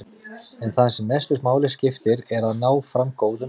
En það sem mestu máli skiptir er að ná fram góðum leikum.